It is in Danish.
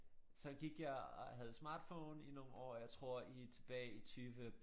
Så gik jeg og havde smartphone i nogle år og jeg tror i tilbage i 20